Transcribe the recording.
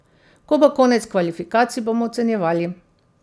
Ko bo konec kvalifikacij, bomo ocenjevali.